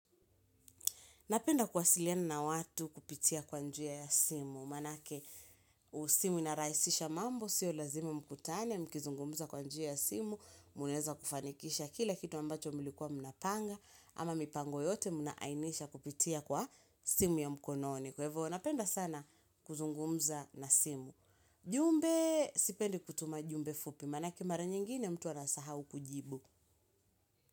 Napenda kuwasiliena na watu kupitia kwa njia ya simu, manake simu inarahisisha mambo, siyo lazime mkutane, mkizungumza kwa njia ya simu, munaeza kufanikisha kila kitu ambacho mlikuwa mnapanga, ama mipango yote munaainisha kupitia kwa simu ya mkononi. Kwa hivo, napenda sana kuzungumza na simu. Jumbe, sipendi kutuma jumbe fupi, manake mara nyingine mtu anasahau kujibu.